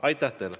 Martin Helme.